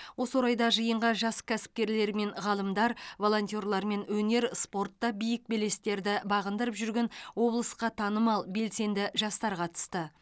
осы орайда жиынға жас кәсіпкерлер мен ғалымдар волонтерлер өнер мен спортта биік белестерді бағындырып жүрген облысқа танымал белсенді жастар қатысты